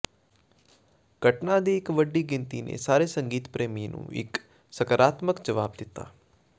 ਘਟਨਾ ਦੀ ਇੱਕ ਵੱਡੀ ਗਿਣਤੀ ਨੇ ਸਾਰੇ ਸੰਗੀਤ ਪ੍ਰੇਮੀ ਨੂੰ ਇੱਕ ਸਕਾਰਾਤਮਕ ਜਵਾਬ ਦਿੱਤਾ